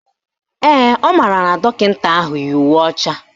Ee, ọ maara na dọkịta ahụ yi uwe ọcha